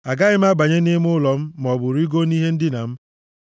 “Agaghị m abanye nʼime ụlọ m maọbụ rigoo nʼihe ndina m,